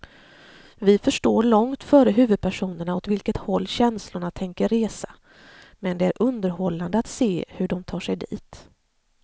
Vi förstår långt före huvudpersonerna åt vilket håll känslorna tänker resa, men det är underhållande att se hur de tar sig dit.